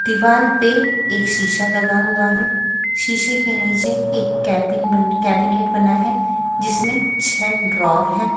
दीवाल पे एक शीशा लगा हुआ है शीशे के नीचे एक केबिन बन कैबिनेट बना है जिसमें छह ड्रॉर है।